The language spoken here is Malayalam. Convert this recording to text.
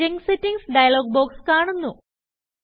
ജങ്ക് Settingsഡയലോഗ് ബോക്സ് കാണുന്നു